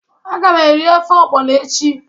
Aga m eri ofe ogbono echi.